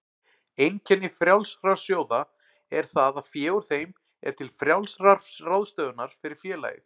Einkenni frjálsra sjóða er það að fé úr þeim er til frjálsrar ráðstöfunar fyrir félagið.